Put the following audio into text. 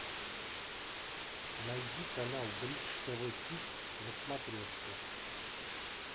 найди канал бридж тв хитс на смотрешке